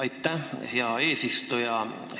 Aitäh, hea eesistuja!